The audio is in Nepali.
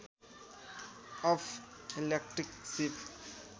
अफ इलेक्ट्रिक सिप